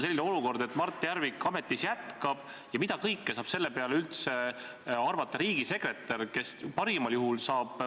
Kedagi ei kohelda halvemini ega paremini selle pärast, mismoodi ta meile inimesena tundub – kas ta on, ma ei tea, opositsioonis või koalitsioonis, kas ta on rikas või vaene.